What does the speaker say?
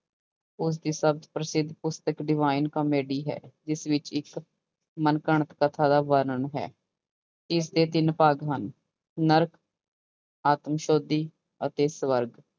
ਉਸਦੀ ਸਦ ਪ੍ਰਸਿੱਧ ਪੁਸਤਕ divine comedy ਹੈ ਜਿਸ ਵਿੱਚ ਇੱਕ ਮਨ ਘੜਤ ਕਥਾ ਦਾ ਵਰਣਨ ਹੈ, ਇਸਦੇ ਤਿੰਨ ਭਾਗ ਹਨ ਨਰਕ, ਆਤਸੋਧੀ ਅਤੇ ਸਵਰਗ